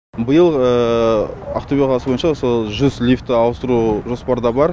биыл ақтөбе қаласы бойынша сол жүз лифті ауыстыру жоспарда бар